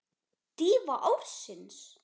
Dýfa ársins?